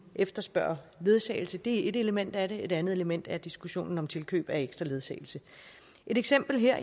efterspørge ledsagelse det er et element af det et andet element er diskussionen om tilkøb af ekstra ledsagelse et eksempel her